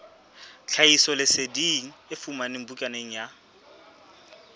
tlhahisoleseding e fumanwe bukaneng ya